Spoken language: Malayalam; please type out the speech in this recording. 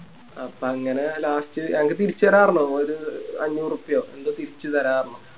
അപ്പൊ അങ്ങനെ Last അവര് തിരിച്ച് തര പറഞ്ഞു അപ്പൊ ഒരു അഞ്ഞൂറുപ്പയോ എന്തോ തിരിച്ച് തര പറഞ്ഞു